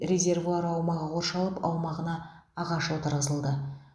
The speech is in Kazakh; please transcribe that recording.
резервуар аумағы қоршалып аумағына ағаш отырғызылды